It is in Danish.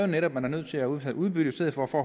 netop er nødt til at udbetale udbytte i stedet for at få